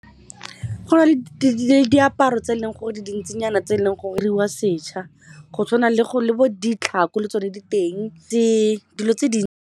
Go na le diaparo tse e leng gore di dintsinyana tse e leng gore di diriwa setšha go tshwana le bo ditlhako le tsone diteng tse dilo tse di.